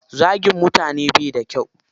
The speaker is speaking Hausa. Zagin mutane baida kyau